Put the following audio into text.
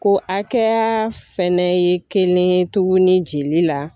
Ko akɛya fɛnɛ ye kelen ye tuguni jeli la